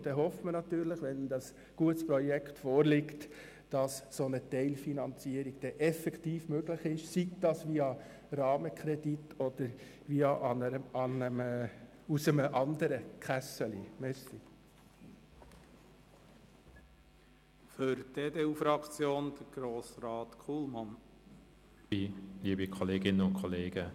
Wir hoffen natürlich, dass eine solche Teilfinanzierung effektiv möglich ist, wenn ein gutes Projekt vorliegt, sei es via Rahmenkredit oder sei es aus einer anderen Kasse.